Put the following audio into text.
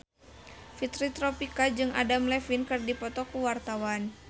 Fitri Tropika jeung Adam Levine keur dipoto ku wartawan